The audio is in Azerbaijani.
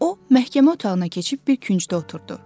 O məhkəmə otağına keçib bir küncdə oturdu.